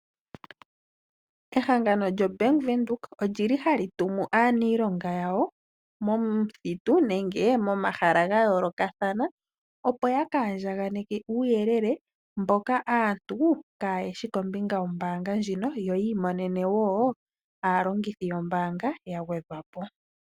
Ehangano lyombaanga ya Venduka olili hali tumu aanilonga yawo momuthitu nenge momahala ga yoolokathana opo ya ka andjaganeke uuyelele mboka aantu kaayeshi kombinga yombaanga ndjino yo yi imonene woo aalongithi yombaanga ya gwedhwapo